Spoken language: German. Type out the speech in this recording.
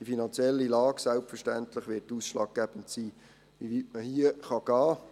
Die finanzielle Lage wird selbstverständlich ausschlaggebend dafür sein, wie weit man hier gehen kann.